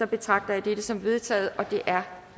betragter jeg det som vedtaget det er